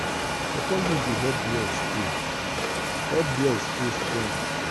pawpaw leaf dey help blood stay help blood stay strong.